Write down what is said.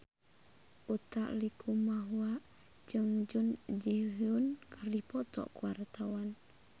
Utha Likumahua jeung Jun Ji Hyun keur dipoto ku wartawan